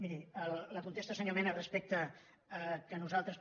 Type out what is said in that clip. miri la con·testa senyor mena respecte a què nosaltres